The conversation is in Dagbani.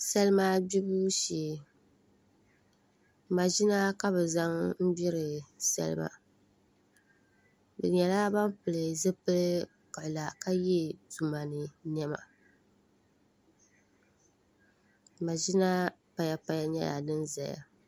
salima gbibu shee maʒina ka bɛ zaŋ n-gbiri salima bɛ nyɛla ban pili zipil' kiɣila ka ye tuma ni nema maʒina payapaya nyɛla din zaya